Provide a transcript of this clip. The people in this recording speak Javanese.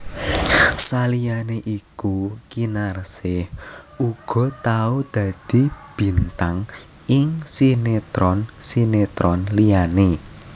Saliyané iku Kinarsih uga tau dadi bintang ing sinetron sinetron liyané